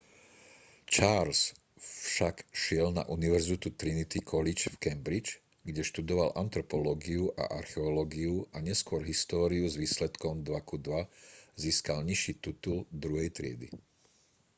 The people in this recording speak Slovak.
charles však išiel na univerzitu trinity college v cambridge kde študoval antropológiu a archeológiu a neskôr históriu s výsledkom 2:2 získal nižší titul druhej triedy